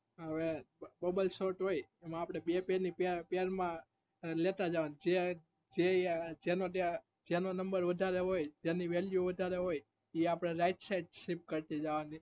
હવ bubble sort હોય એમાં અપડે બે બે ની pair માં લેતા જાવ જે જેમાંથી પેલો number વધારે હોય જેની value વધારે હોય ઈ આપડે right side shift કરતાં જવાનું